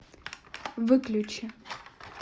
выключи